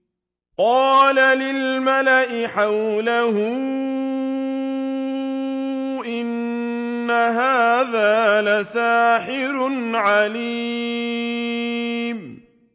قَالَ لِلْمَلَإِ حَوْلَهُ إِنَّ هَٰذَا لَسَاحِرٌ عَلِيمٌ